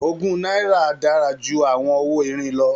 Ogún náírà dára ju àwọn owó irin lọ